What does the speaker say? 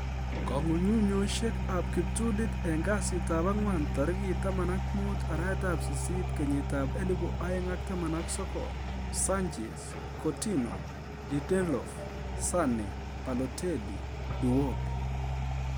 Kong'ung'unyosiek ab kiptulit en kasitab ang'wan tarigit 15/08/2019: Sanchez, Coutinho, Lindelof, Sane, Balotelli, Iwobi